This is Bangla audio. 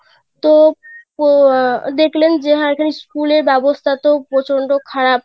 তো ও আহ দেখলেন যে এখানে school এর ব্যবস্থা তো প্রচন্ড খারাপ;